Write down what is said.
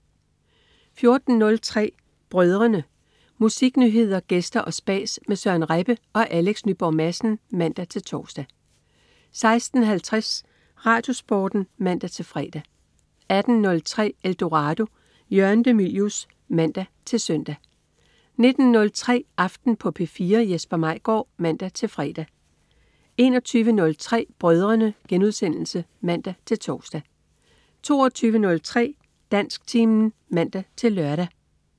14.03 Brødrene. Musiknyheder, gæster og spas med Søren Rebbe og Alex Nyborg Madsen (man-tors) 16.50 RadioSporten (man-fre) 18.03 Eldorado. Jørgen de Mylius (man-søn) 19.03 Aften på P4. Jesper Maigaard (man-fre) 21.03 Brødrene* (man-tors) 22.03 Dansktimen (man-lør)